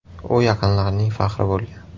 U yaqinlarining faxri bo‘lgan”.